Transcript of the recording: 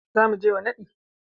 Za mu je wa naɗi.